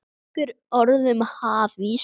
Nokkur orð um hafís